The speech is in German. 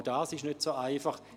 Auch dies ist nicht so einfach.